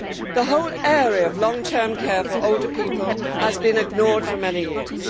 The whole area of long term care for older people has been ignored for many years.